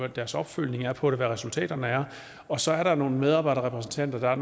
deres opfølgning er på det og hvad resultaterne er og så er der nogle medarbejderrepræsentanter